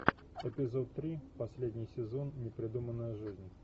эпизод три последний сезон непридуманная жизнь